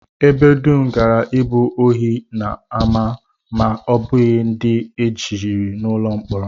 Ebe dum gaara abụ ohi na ama ma ọ bụghị ndị e jichiri n'ụlọ mkpọrọ